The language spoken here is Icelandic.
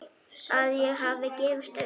Að ég hafi gefist upp.